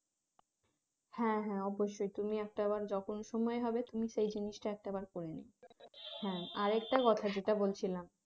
হ্যাঁ হ্যাঁ অবশ্যই তুমি একটা বার যখন সময় হবে তুমি সেই জিনিসটা একটা বার করে নিও হ্যাঁ আরেকটা কথা যেটা বলছিলাম